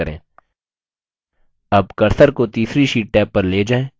tab cursor को तीसरी sheet tab पर ले जाएँ